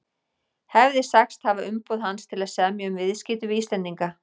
hefði sagst hafa umboð hans til að semja um viðskipti við Íslendinga.